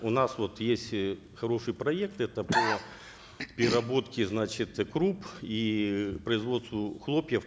у нас вот есть э хороший проект это по переработке значит круп и производству хлопьев